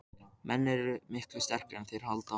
Mennirnir eru miklu sterkari en þeir halda.